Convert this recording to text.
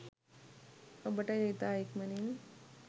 ඔබට එය ඉතා ඉක්මනින්